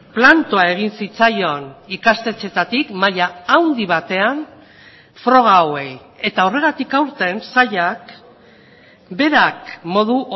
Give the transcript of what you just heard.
plantoa egin zitzaion ikastetxeetatik maila handi batean froga hauei eta horregatik aurten sailak berak modu